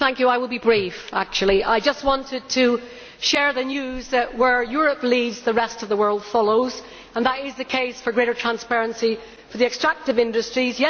Mr President, I will be brief. I just wanted to share the news that where Europe leads, the rest of the world follows and that is the case for greater transparency for the extractive industries.